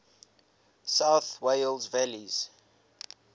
south wales valleys